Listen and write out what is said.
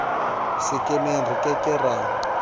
sekemeng re ke ke ra